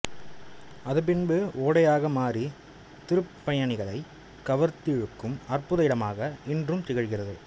அது பின்பு ஓடையாக மாறி திருப்பயணிகளை கவர்ந்திழுக்கும் அற்புத இடமாக இன்றும் திகழ்கிறது